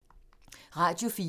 Radio 4